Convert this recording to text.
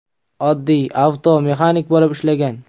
Oddiy avtomexanik bo‘lib ishlagan.